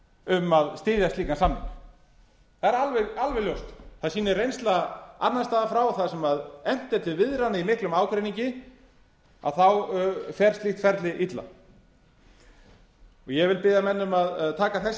um að styðja slíkan samning það er alveg ljóst það sýnir reynsla annars staðar frá og þar sem efnt er til viðræðna í miklum ágreiningi þá fer slíkt ferli illa eg vil biðja menn um að taka þessi orð